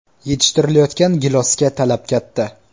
Yetishtirilayotgan gilosga talab katta.